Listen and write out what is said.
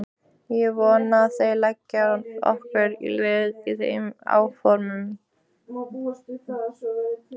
Ég vona að þér leggið okkur lið í þeim áformum.